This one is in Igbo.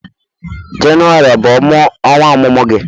Jenụwarị ọ bụ ọnwa ọmụmụ gị?